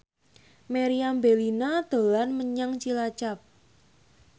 Meriam Bellina dolan menyang Cilacap